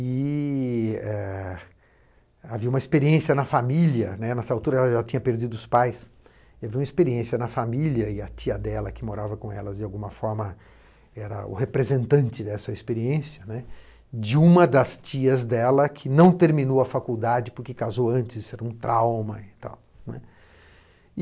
E eh, havia uma experiência na família, né, nessa altura ela ela tinha perdido os pais, e havia uma experiência na família, e a tia dela que morava com elas, de alguma forma, era o representante dessa experiência, né, de uma das tias dela que não terminou a faculdade porque casou antes, era um trauma e tal, né.